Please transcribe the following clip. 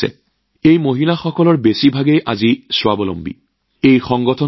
আজিৰ এই মহিলাসকলৰ অধিকাংশই নিজাববীয়াকৈ কোনোবা নহয় কোনোবা কাম কৰি আছে